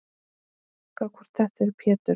Gá hvort þetta er Pétur.